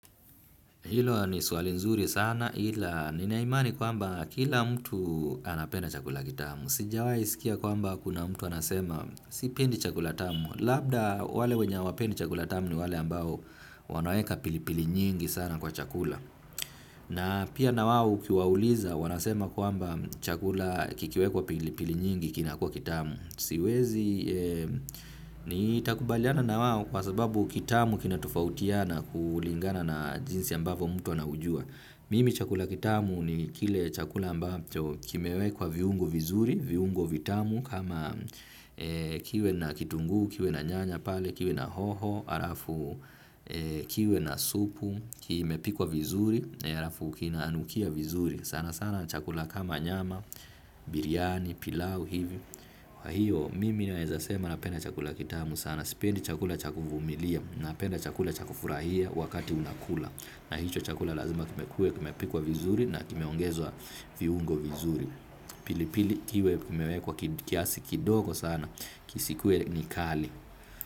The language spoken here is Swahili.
Hilo ni swali nzuri sana ila ninaimani kwamba kila mtu anapenda chakula kitamu. Sijawahi sikia kwamba kuna mtu anasema sipendi chakula tamu. Labda wale wenye hawapendi chakula tamu ni wale ambao wanaweka pilipili nyingi sana kwa chakula. Na pia na wao ukiwauliza wanasema kwamba chakula kikiwekwa pilipili nyingi kinakua kitamu. Siwezi nitakubaliana na wao kwa sababu kitamu kina tofatiana kulingana na jinsi ambavyo mtu anaujua. Mimi chakula kitamu ni kile chakula ambacho kimewekwa viungo vizuri, viungo vitamu kama kiwe na kitunguu, kiwe na nyanya pale, kiwe na hoho, alafu kiwe na supu, kimepikwa vizuri, alafu kinanukia vizuri. Sana sana chakula kama nyama, biryani, pilau, hivyo. Kwa hiyo mimi naweza sema napenda chakula kitamu sana. Sipendi chakula cha kuvumilia. Napenda chakula chakufurahia wakati unakula. Na hicho chakula lazima kiwe, kimepikwa vizuri na kimeongezwa viungo vizuri. Pili pili kiwe kimewekwa kiasi kidogo sana isikue ni kali.